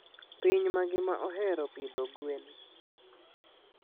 Piny mangima ohero pidho gwen.